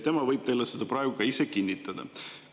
Ta võib teile seda praegu ka ise kinnitada.